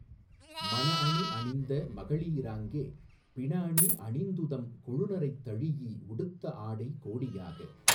மணஅணி அணிந்த மகளி ராங்கே பிணஅணி அணிந்துதம் கொழுநரைத் தழீஇ உடுத்த ஆடை கோடியாக